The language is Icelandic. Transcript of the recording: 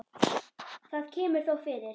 Það kemur þó fyrir.